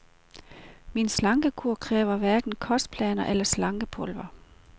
Min slankekur kræver hverken kostplaner eller slankepulver.